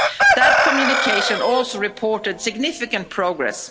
That communication also reported significant progress.